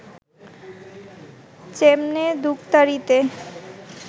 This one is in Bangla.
চেমনে দুখতারিতে